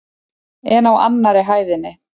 En á annarri hæðinni?